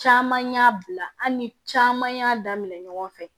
Caman y'a bila an ni caman y'a daminɛ ɲɔgɔn fɛ